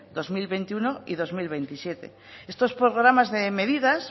dos mil veintiuno y dos mil veintisiete estos programas de medidas